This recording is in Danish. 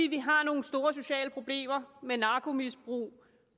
vi har nogle store sociale problemer med narkomisbrug